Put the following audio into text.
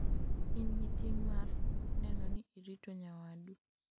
in gi ting' mar neno ni irito nyawadu